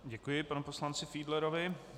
Děkuji panu poslanci Fiedlerovi.